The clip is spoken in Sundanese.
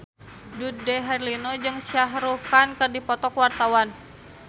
Dude Herlino jeung Shah Rukh Khan keur dipoto ku wartawan